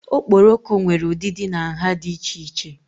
Okporoko nwere ụdịdị na nha dị iche iche.